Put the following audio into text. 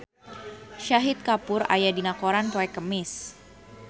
Shahid Kapoor aya dina koran poe Kemis